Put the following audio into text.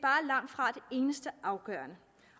eneste afgørende